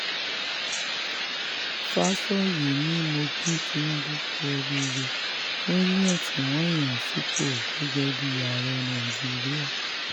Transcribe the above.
fàsọyé ni mo ki tinubu kú oríire fún yíyàn tí um wọ́n yàn án sípò gẹ́gẹ́ bíi ààrẹ um nàìjíríà